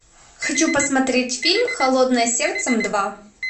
хочу посмотреть фильм холодное сердце два